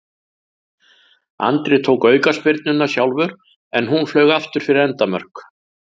Andri tók aukaspyrnuna sjálfur en hún flaug aftur fyrir endamörk.